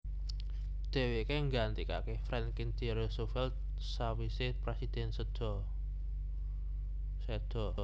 Dheweke nggantikake Franklin D Roosevelt sawise presidhèn seda